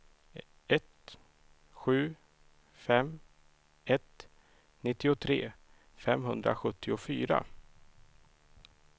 ett sju fem ett nittiotre femhundrasjuttiofyra